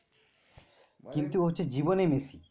কিন্তু হচ্ছে জীবনে মেসি